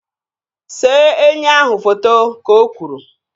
See enyi ahụ foto! Ka o kwuru